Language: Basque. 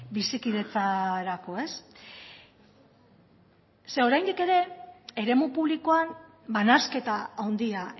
bizikidetzarako ze oraindik ere eremu publikoan nahasketa handia